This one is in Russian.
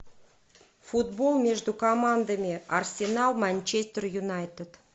футбол между командами арсенал манчестер юнайтед